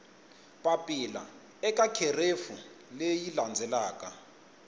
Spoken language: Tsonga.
papila eka kherefu leyi landzelaka